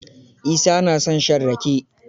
Isa na son shan rake.